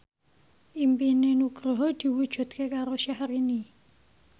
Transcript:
impine Nugroho diwujudke karo Syahrini